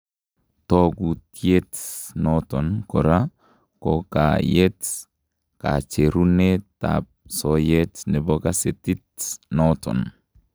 Tookutyet noton koraa kokayeet kacherunetab soyeet nebo kaseetiit noton